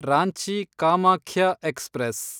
Ranchi Kamakhya express